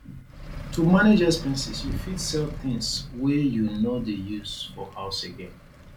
to manage expenses you fit sell things wey you no dey use for house again